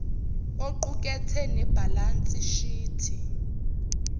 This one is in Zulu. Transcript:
oqukethe nebhalansi shithi